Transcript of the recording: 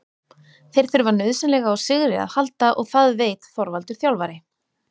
Þeir þurfa nauðsynlega á sigri að halda og það veit Þorvaldur þjálfari.